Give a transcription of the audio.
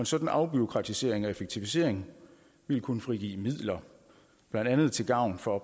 sådan afbureaukratisering og effektivisering ville kunne frigive midler blandt andet til gavn for